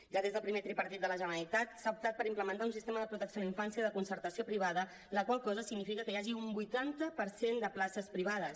ja des del primer tripartit de la generalitat s’ha optat per implementar un sistema de protecció a la infància de concertació privada la qual cosa significa que hi hagi un vuitanta per cent de places privades